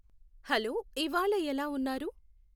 hello ఇవ్వాళ ఎలా ఉన్నారు